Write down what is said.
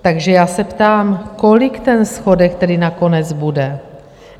Takže já se ptám, kolik ten schodek tedy nakonec bude?